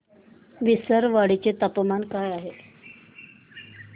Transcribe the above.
विसरवाडी चे तापमान काय आहे